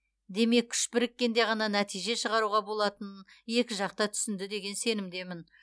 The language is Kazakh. демек күш біріккенде ғана нәтиже шығаруға болатынын екі жақ та түсінді деген сенімдемін